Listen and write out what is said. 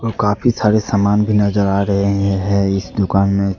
काफी सारे सामान भी नजर आ रहे हैं इस दुकान में।